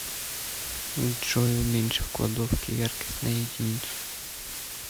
джой уменьши в кладовке яркость на единицу